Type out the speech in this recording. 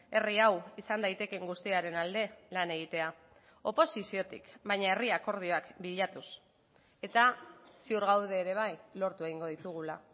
herri hau izan daitekeen guztiaren alde lan egitea oposiziotik baina herri akordioak bilatuz eta ziur gaude ere bai lortu egingo ditugula